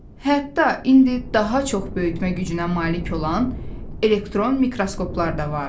Hətta indi daha çox böyütmə gücünə malik olan elektron mikroskoplar da var.